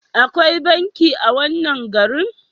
Akwai banki a wannan garin?